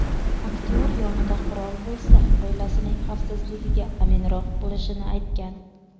Aktyor yonida qurol bo‘lsa, oilasining xavfsizligiga aminroq bo‘lishini aytgan.